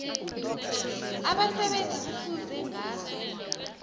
abasebenzi kufuze ngaso